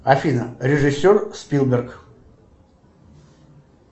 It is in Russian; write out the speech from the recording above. афина режиссер спилберг